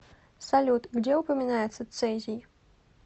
салют где упоминается цезий